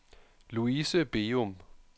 Luise Begum